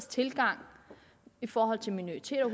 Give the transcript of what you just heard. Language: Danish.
tilgang i forhold til minoriteter